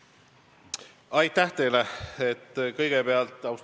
Aitäh teile kõigepealt!